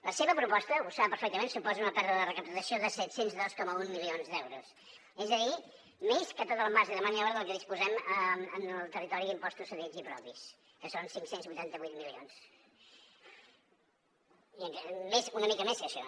la seva proposta ho sap perfectament suposa una pèrdua de recaptació de set cents i dos coma un milions d’euros és a dir més que tot el marge de maniobra del que disposem en el territori d’impostos cedits i propis que són cinc cents i vuitanta vuit milions una mica més que això